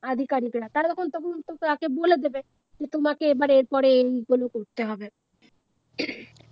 আধিকারিকরা তারা তখন তখন তোকে এসে বলে দেবে যে তোমাকে এবারে এরপরে এগুলো করতে হবে